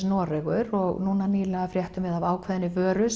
Noregur og núna nýlega fréttum við af ákveðinni vöru